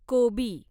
कोबी